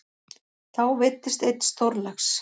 Þá veiddist einn stórlax.